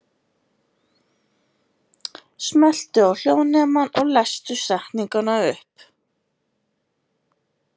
Margir lesblindir virðast einmitt hafa lélega rúmskynjun og hreyfifærni.